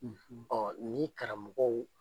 ni karamɔgɔw